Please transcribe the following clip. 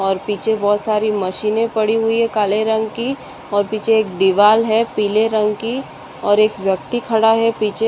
और पीछे बहुत सारी मशीने पड़ी हुई है काले रंग की और पीछे एक दीवाल है पीले रंग की और एक व्यक्ति खड़ा है पीछे।